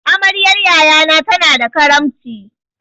Amaryan yaya na tana da karamci.